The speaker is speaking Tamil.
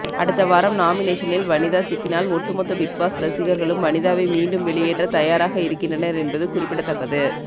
அடுத்த வாரம் நாமினேஷனில் வனிதா சிக்கினால் ஒட்டுமொத்த பிக்பாஸ் ரசிகர்களும் வனிதாவை மீண்டும் வெளியேற்ற தயாராக இருக்கின்றனர் என்பது குறிப்பிடத்தக்கது